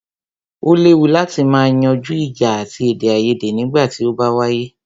O léwu láti má yanjú ìjà àti èdèaiyèdè nígbà tí o bá wáyé.